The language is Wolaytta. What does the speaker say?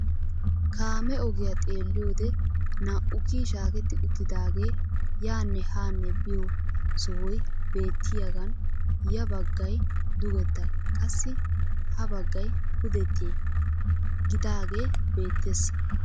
Kaamee ogiyaa xeelliyoode naa"u kiyi shaaketti uttidaagee yaanne haa biyoo sohoy beetiyaagan ya baggay dugetta qassi ha baggay pudette gidagee beettees.